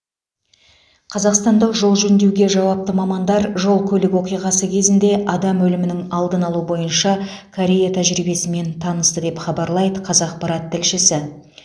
қазақстандық жол жөндеуге жауапты мамандар жол көлік оқиғасы кезінде адам өлімінің алдын алу бойынша корея тәжірибесімен танысты деп хабарлайды қазақпарат тілшісі